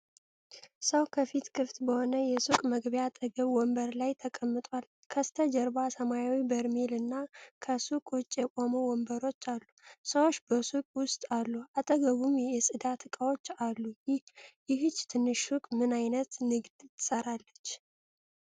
ሰው ከፊል ክፍት በሆነ የሱቅ መግቢያ አጠገብ ወንበር ላይ ተቀምጧል። ከበስተጀርባ ሰማያዊ በርሜል እና ከሱቅ ውጭ የቆሙ ወንበሮች አሉ። ሰዎች በሱቁ ውስጥ አሉ። አጠገቡም የጽዳት ዕቃዎች አሉ። ይህች ትንሽ ሱቅ ምን ዓይነት ንግድ ትሠራለች?